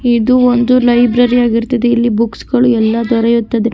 ಇದು ಒಂದು ಲೈಬ್ರರಿ ಆಗಿರುತ್ತದೆ ಇಲ್ಲಿ ಬುಕ್ಸಗಳು ಎಲ್ಲಾದರೆ--